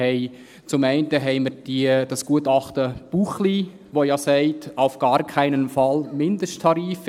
Zum einen haben wir das Gutachten Buchli, das ja sagt, «auf gar keinen Fall Mindesttarife;